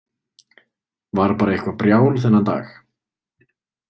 Var bara eitthvað brjál þennan dag.